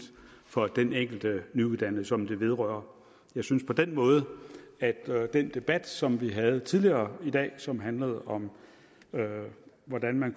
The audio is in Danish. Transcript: for den enkelte nyuddannede som det vedrører jeg synes på den måde at den debat som vi havde tidligere i dag og som handlede om hvordan man